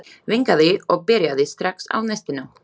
Vinkaði og byrjaði strax á nestinu.